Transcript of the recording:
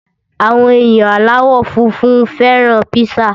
Àwọn èèyàn aláwọ̀ funfun fẹ́ràn píṣà